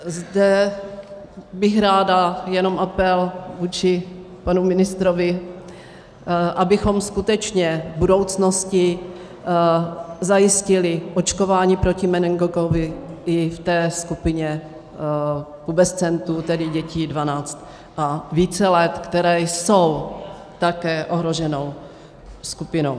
Zde bych ráda jenom apel vůči panu ministrovi, abychom skutečně v budoucnosti zajistili očkování proti meningokokovi i v té skupině pubescentů, tedy dětí 12 a více let, které jsou také ohroženou skupinou.